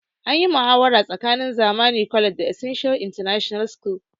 Anyi muhawara tsakanin zamani college da essence international school